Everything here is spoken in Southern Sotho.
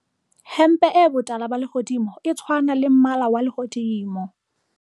Hempe e botala ba lehodimo e tshwana le mmala wa lehodimo.